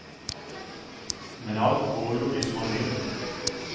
Men alt går jo hvis man vil.